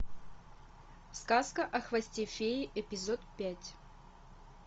сказка о хвосте феи эпизод пять